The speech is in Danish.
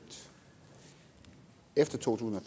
efter to tusind og